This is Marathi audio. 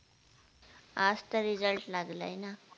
आज तर Result लागलाय ना